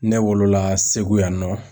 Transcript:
Ne wolola Segu yan nɔ.